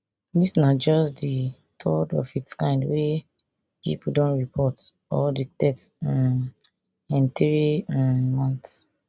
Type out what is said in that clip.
dis na just di third of its kind wey pipo don report or detect um in three um months